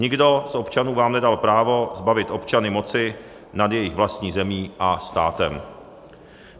Nikdo z občanů vám nedal právo zbavit občany moci nad jejich vlastní zemí a státem.